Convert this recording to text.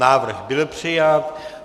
Návrh byl přijat.